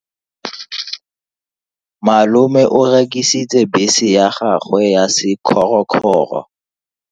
Malome o rekisitse bese ya gagwe ya sekgorokgoro.